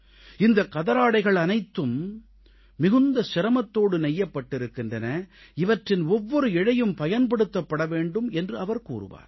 இந்தக் கதராடைகள் அனைத்தும் மிகுந்த சிரமத்தோடு நெய்யப்பட்டிருக்கின்றன இவற்றின் ஒவ்வொரு இழையும் பயன்படுத்தப்பட வேண்டும் என்று அவர் கூறுவார்